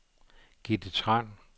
Gitte Tran